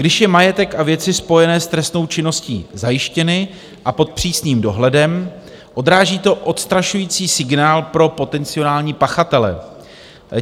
Když jsou majetek a věci spojené s trestnou činností zajištěny a pod přísným dohledem, odráží to odstrašující signál pro potenciální pachatele.